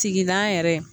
Tigilan yɛrɛ